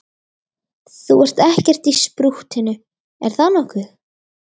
Þú ert ekkert í sprúttinu, er það nokkuð?